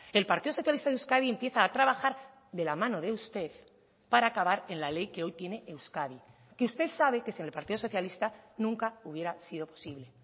el partido socialista de euskadi empieza a trabajar de la mano de usted para acabar en la ley que hoy tiene euskadi que usted sabe que sin el partido socialista nunca hubiera sido posible